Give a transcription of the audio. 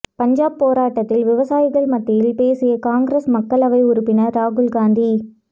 பஞ்சாப் போராட்டத்தில் விவசாயிகள் மத்தியில் பேசிய காங்கிரஸ் மக்களவை உறுப்பினர் ராகுல்காந்தி